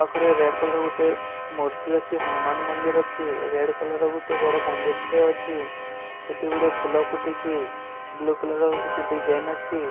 ପାଖରେ red colour ଗୋଟେ ମୂର୍ତ୍ତି ଅଛି ହନୁମାନ ମନ୍ଦିର ଅଛି ରେଡ କଲର ର ଗୋଟେ ବଡ଼ ମନ୍ଦିର ଟେ ଅଛି କେତେ ଗୁଡ଼ିଏ ଫୁଲ ଫୁଟିଚି ବ୍ଲୁ କଲର ର କିଛି ଡିଜାଇନ ଅଛି।